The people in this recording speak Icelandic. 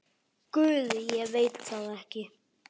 Guð, ég veit það ekki.